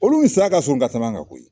Olu ni saya ka surun ka tɛmɛ an kan koyi.